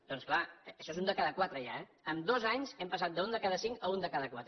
doncs clar això és un de cada quatre ja eh en dos anys hem passat d’un de cada cinc a un de cada quatre